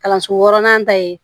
Kalanso wɔɔrɔnan ta ye